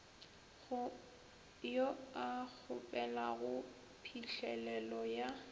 yo a kgopelago phihlelelo ya